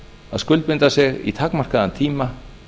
að skuldbinda sig í takmarkaðan tíma